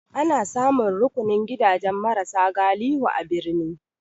Ana samun rukunin gidajen mara sa galihu a birni.